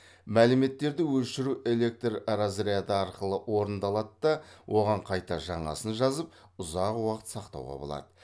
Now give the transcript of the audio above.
мәліметтерді өшіру электр разряды арқылы орындалады да оған қайта жаңасын жазып ұзақ уақыт сақтауға болады